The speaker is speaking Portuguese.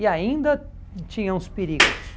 E ainda tinham os perigos.